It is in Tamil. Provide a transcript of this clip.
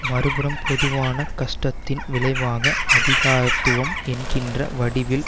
மறு புறம் பொதுவான கஷ்டத்தின் விளைவாக அதிகாரத்துவம் என்கின்ற வடிவில்